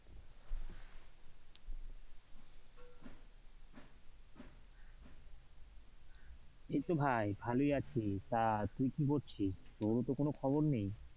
এইতো ভাই ভালোই আছি, তা তুই কি করছিস? তোরও তো কোনো খবর নেই।